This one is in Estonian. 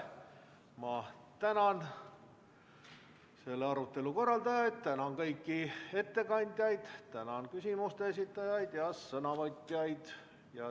Ma tänan selle arutelu korraldajaid, tänan kõiki ettekandjaid, tänan küsimuste esitajaid ja sõnavõtjaid.